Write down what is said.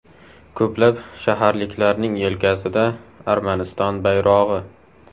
Ko‘plab shaharliklarning yelkasida Armaniston bayrog‘i.